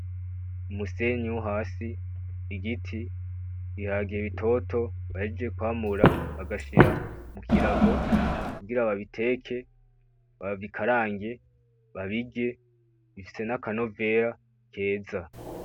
Umusenyi wo hasi , igiti, ibiharage bitoto bahejeje kwamura bagashira kukirago kugira babiteke, babikarange babirye bifise n'akanovera keza .